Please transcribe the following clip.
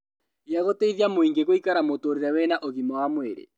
Gĩa gũteithia mũingĩ gũikara mũtũũrĩre wĩna ũgima wa mwĩrĩ